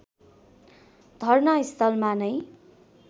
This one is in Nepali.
धर्ना स्थलमा नै